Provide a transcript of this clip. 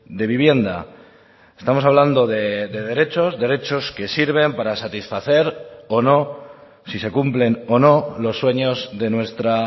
de vivienda estamos hablando de derechos derechos que sirven para satisfacer o no si se cumplen o no los sueños de nuestra